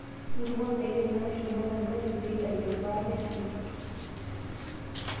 Ntukuo ndaiki naashuma tenkare pee eitayu embata e shumbi.